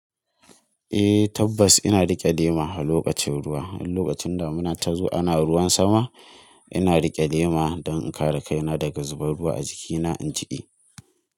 Eh tabbas ina riƙe lema a lokacin ruwa. In lokacin da muna tazo ana ruwan sama, ina riƙe lema don in kare kaina daga zubar ruwa a jikina, in jiƙe.